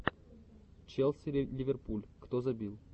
челси ливерпуль кто забил